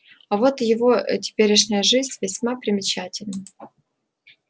а вот его теперешняя жизнь весьма примечательна